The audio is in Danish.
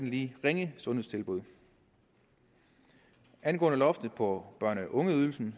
lige ringe sundhedstilbud angående loftet på børne og ungeydelsen